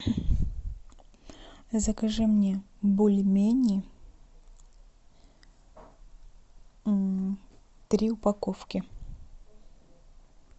закажи мне бульмени три упаковки